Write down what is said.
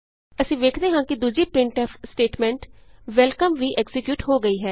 ਅਸੀਂ ਵੇਖਦੇ ਹਾਂ ਕਿ ਦੂਜੀ ਪ੍ਰਿੰਟਫ ਸਟੇਟਮੈਂਟ ਵੈਲਕਮ ਵੀ ਐਕਜ਼ੀਕਿਯੂਟ ਹੋ ਗਈ ਹੈ